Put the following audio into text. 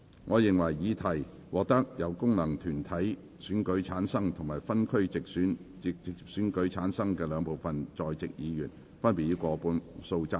我認為議題獲得經由功能團體選舉產生及分區直接選舉產生的兩部分在席議員，分別以過半數贊成。